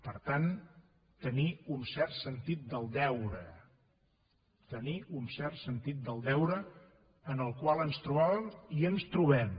per tant tenir un cert sentit del deure tenir un cert sentit del deure en el qual ens trobàvem i ens trobem